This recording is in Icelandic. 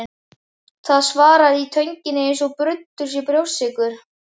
Það svarrar í tönginni eins og bruddur sé brjóstsykur.